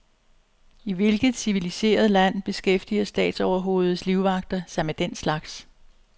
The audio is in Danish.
I hvilket civiliseret land beskæftiger statsoverhovedets livvagter sig med den slags.